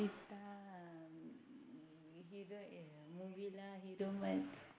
Movie ला Hero